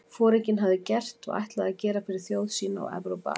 Foringinn hafði gert og ætlaði að gera fyrir þjóð sína og Evrópu alla?